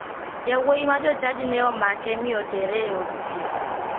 Yawuoyi ma jochadi ne omake mi otere e od thieth